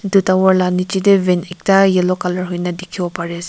etu tower lah nicche teh van ekta yellow colour hoina dikhibo pare ase.